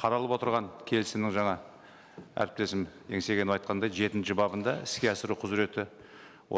қаралып отырған келісімнің жаңа әріптесім еңсегенов айтқандай жетінші бабында іске асыру құзыреті